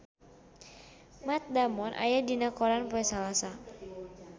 Matt Damon aya dina koran poe Salasa